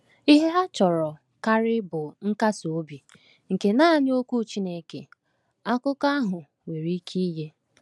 Ihe ha chọrọ karị bụ nkasi obi nke naanị Okwu Chineke, akụkọ ahụ, nwere ike inye.